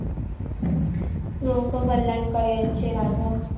लोक कल्याण करायचे राजा